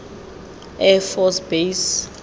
air force base